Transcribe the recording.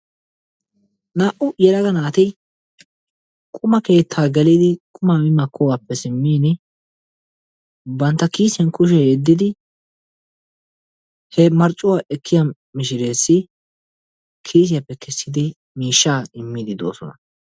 Naa"u yellaga naati quma keetti geliidi qumaa mi maakogaappe siimini bantta kiisiyaan kushshiyaa yeeddidi he marccuwaa ekkiyaa mishireesi kisiyaappe keessidi mishshaa immiidi de'oosona.